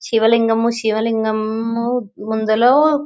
శివలింగమ్మ శివలింగం ముందులో --